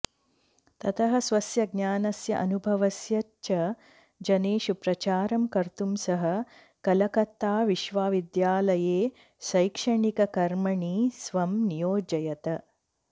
ततः स्वस्य ज्ञानस्य अनुभवस्य च जनेषु प्रचारं कर्तुं सः कलकत्ताविश्वविद्यालये शैक्षणिककर्मणि स्वं नियोजयत